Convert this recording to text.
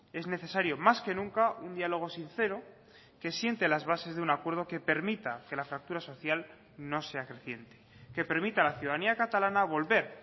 es necesario más que nunca un diálogo sincero que siente las bases de un acuerdo que permita que la fractura social no sea creciente que permita a la ciudadanía catalana volver